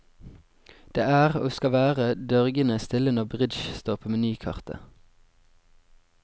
Det er, og skal være dørgende stille når bridge står på menykartet.